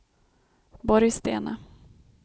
Borgstena